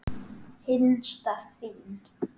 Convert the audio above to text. Hinsta þín.